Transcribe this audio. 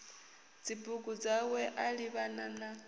dzibugu dzawe a livhana na